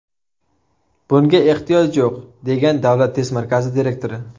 Bunga ehtiyoj yo‘q, degan Davlat test markazi direktori.